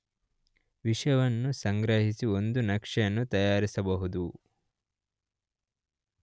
ವಿಷಯವನ್ನು ಸಂಗ್ರಹಿಸಿ ಒಂದು ನಕ್ಷೆಯನ್ನು ತಯಾರಿಸಬಹುದು.